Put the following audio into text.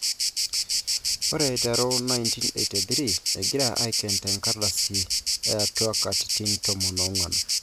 Ore aiteru 1983 agira aiken tenkardasi ,etwa katitin 14.''